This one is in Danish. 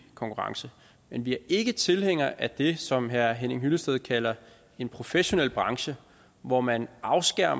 konkurrence men vi er ikke tilhængere af det som herre henning hyllested kalder en professionel branche hvor man afskærer